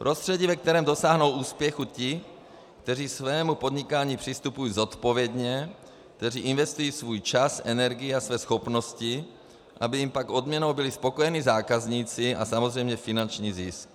Prostředí, ve kterém dosáhnou úspěchu ti, kteří svému podnikání přistupují zodpovědně, kteří investují svůj čas, energii a své schopnosti, aby jim pak odměnou byli spokojení zákazníci a samozřejmě finanční zisk.